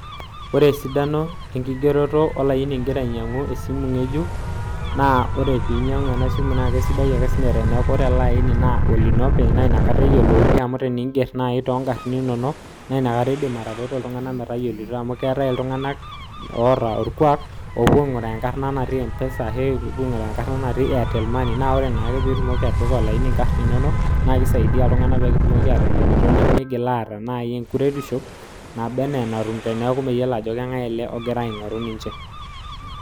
ore esidano enkigeroto olaini ingira ainyangu olaini ngejuk amuu keeta iltunganak oonyor aashom aingurai ajo mkaarna natii empesa oltungani neeku kisho ina metayiolito aasioki